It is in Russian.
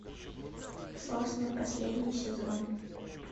сосны последний сезон